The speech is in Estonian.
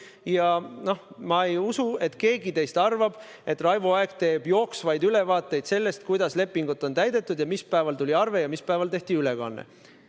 Ja ma ei usu, et keegi teist arvab, et Raivo Aeg teeb jooksvaid ülevaateid sellest, kuidas lepingut on täidetud ja mis päeval tuli arve ja mis päeval tehti ülekanne.